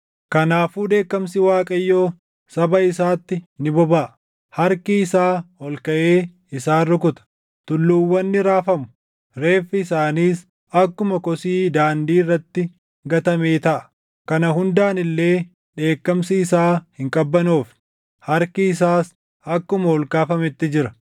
Kanaafuu dheekkamsi Waaqayyoo saba isaatti ni bobaʼa; harki isaa ol kaʼee isaan rukuta. Tulluuwwan ni raafamu; reeffi isaaniis akkuma kosii daandii irratti gatamee taʼa. Kana hundaan illee dheekkamsi isaa hin qabbanoofne; harki isaas akkuma ol kaafametti jira.